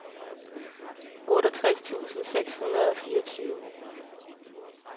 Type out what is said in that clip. otteogtres tusind seks hundrede og fireogtyve